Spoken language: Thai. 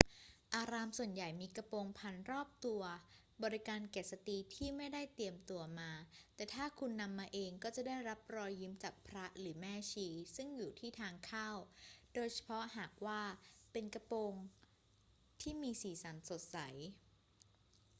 อารามส่วนใหญ่มีกระโปรงพันรอบตัวบริการแก่สตรีที่ไม่ได้เตรียมตัวมา แต่ถ้าคุณนำมาเองก็จะได้รับรอยยิ้มจากพระหรือแม่ชีซึ่งอยู่ที่ทางเข้า โดยเฉพาะหากว่าเป็นกระโปรงที่มีสีสันสดใส